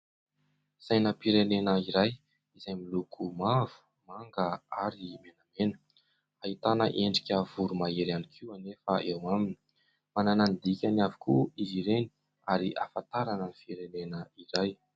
Sainam-pirenena iray izay miloko mavo, manga ary menamena. Ahitana endrika voromahery ihany koa anefa eo aminy. Manana ny dikany avokoa izy ireny ary ahafantarana ny firenena iray.